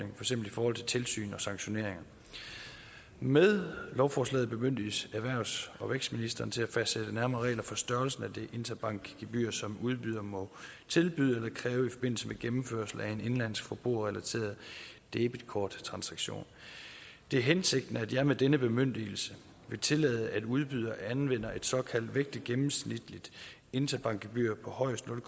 eksempel i forhold til tilsyn og sanktioner med lovforslaget bemyndiges erhvervs og vækstministeren til at fastsætte nærmere regler for størrelsen af det interbankgebyr som udbydere må tilbyde eller kræve i forbindelse med gennemførelse af en indenlandsk forbrugerrelateret debetkorttransaktion det er hensigten at jeg med denne bemyndigelse vil tillade at udbydere anvender et såkaldt vægtet gennemsnitligt interbankgebyr på højst nul